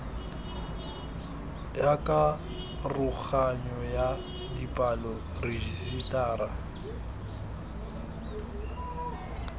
ya karoganyo ya dipalo rejisetara